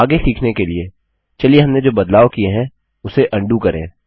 आगे सीखने के लिए चलिए हमने जो बदलाव किए है उसे अन्डू करें